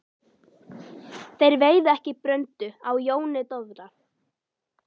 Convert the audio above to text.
Þeir veiða ekki bröndu á Jóni Dofra.